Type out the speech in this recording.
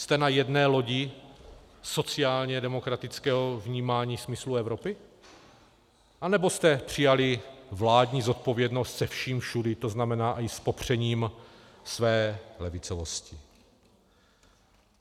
Jste na jedné lodi sociálně demokratického vnímání smyslu Evropy, anebo jste přijali vládní zodpovědnost se vším všudy, to znamená i s popřením své levicovosti?